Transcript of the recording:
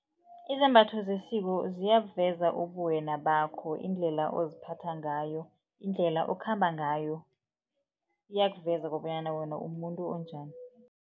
Izambatho zesiko ziyabuve ubuwena bakho indlela oziphatha ngayo. Indlela okhamba ngayo iyakuveza kobanyana wena umuntu onjani.